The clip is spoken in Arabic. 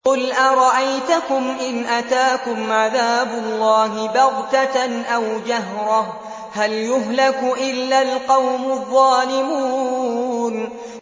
قُلْ أَرَأَيْتَكُمْ إِنْ أَتَاكُمْ عَذَابُ اللَّهِ بَغْتَةً أَوْ جَهْرَةً هَلْ يُهْلَكُ إِلَّا الْقَوْمُ الظَّالِمُونَ